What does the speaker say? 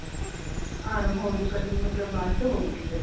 arm hole ਦੀ cutting ਮਤਲਬ ਬਾਅਦ ਚ ਹੋਏਗੀ ਫ਼ੇਰ